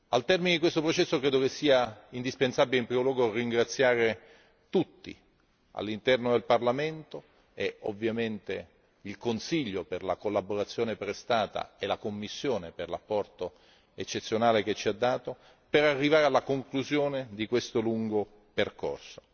Al termine di questo processo ritengo indispensabile in primo luogo ringraziare tutti all'interno del Parlamento e, ovviamente, il Consiglio, per la collaborazione prestata, e la Commissione, per l'apporto eccezionale fornito, per giungere alla conclusione di questo lungo percorso.